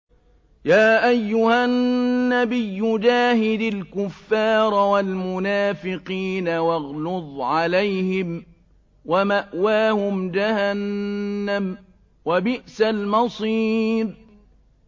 يَا أَيُّهَا النَّبِيُّ جَاهِدِ الْكُفَّارَ وَالْمُنَافِقِينَ وَاغْلُظْ عَلَيْهِمْ ۚ وَمَأْوَاهُمْ جَهَنَّمُ ۖ وَبِئْسَ الْمَصِيرُ